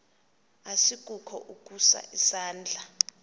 asikukho ukusa isandla